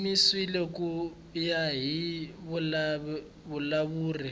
yimisiwile ku ya hi vulawuri